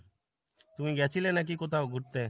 তুমি গেছিলে নাকি কোথাও ঘুরতে ?